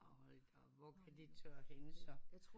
Og hvor kan det tørres henne så